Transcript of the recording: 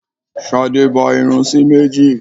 Ṣadé ba irun sí méjì.